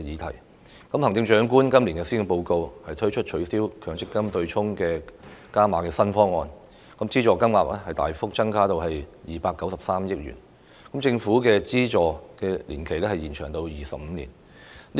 行政長官在去年的施政報告提出取消強積金對沖機制的"加碼"新方案，資助金額大幅增加至293億元，資助年期亦延長至25年。